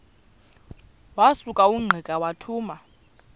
wasuka ungqika wathuma